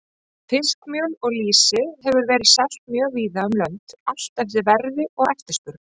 Fiskmjöl og lýsi hefur verið selt mjög víða um lönd, allt eftir verði og eftirspurn.